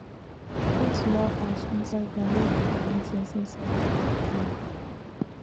put small ash inside ground make the living things inside dey work well